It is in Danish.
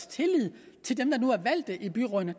tillid til dem der nu er valgt ind i byrådene